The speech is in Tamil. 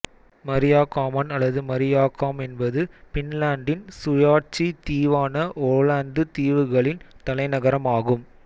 மரீயாகாமன் அல்லது மரீயாகாம் என்பது பின்லாந்தின் சுயாட்சி தீவான ஓலந்து தீவுகளின் தலைநகரம் ஆகும்